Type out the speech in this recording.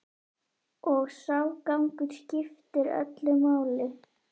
Og sá gangur skiptir öllu máli.